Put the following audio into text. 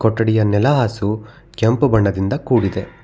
ಕೊಠಿಡಿಯ ನೆಲ ಹಾಸು ಕೆಂಪು ಬಣ್ಣದಿಂದ ಕೂಡಿದೆ.